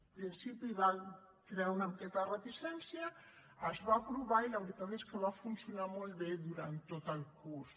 al principi va crear una miqueta de reticència es va aprovar i la veritat és que va funcionar molt bé durant tot el curs